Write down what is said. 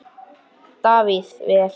Þú sagðir það, sagði Ari.